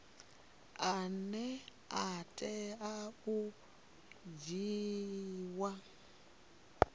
ane a tea u dzhiiwa